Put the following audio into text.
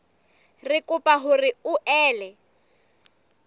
re kopa hore o ele